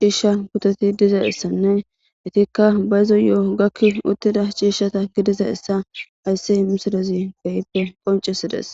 ciishsha puteti diza issanne itikka bayzo yo7o gakki uttida ciishshata gidiza issa ayssi misilezi geyppe qoncisides